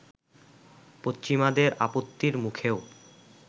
পশ্চিমাদের আপত্তির মুখেও